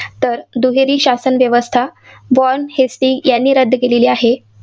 तर दुहेरी शासन व्यवस्था जॉन हेस्टी याने रद्द केलेली आहे.